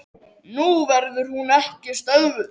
Nú verður hún ekki stöðvuð.